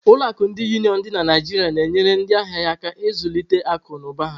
Ụlọ akụ ndi Uniọn dị na Naijiria na-enyere ndị ahịa ya aka ịzụlite akụ na ụba ha.